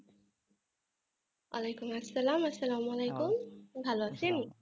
ওয়ালাইকুম আসসালাম আস্সালামালেকুম ভালো আছেন?